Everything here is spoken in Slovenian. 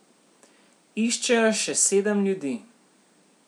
Iščejo še sedem ljudi.